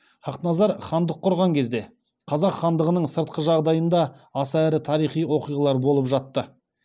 хақназар хандық құрған кезде қазақ хандығының сыртқы жағдайында аса ірі тарихи оқиғалар болып жатты